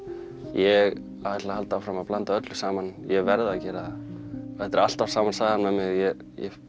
ég ætla að halda áfram að blanda öllu saman ég verð að gera það þetta er alltaf sama sagan með mig ég